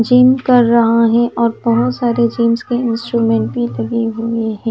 Gym कर रहा हैऔर बहुत सारे जिम्स के इंस्ट्रूमेंट लगे हुए हैं।